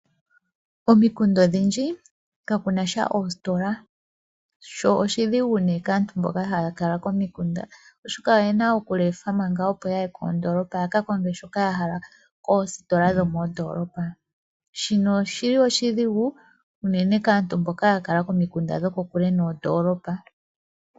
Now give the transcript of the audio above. Komikunda odhindji kaku nasha oositola, sho oshidhigu nduno kaantu mboka haya kala komikunda, oshoka oyena okulefa opo yaye ya ka konge shoka ya hala koositola dhokoondoolopa. Shika oshili oshidhigu unene kaantu mboka yeli komikunda dhili kokule noondoolopa.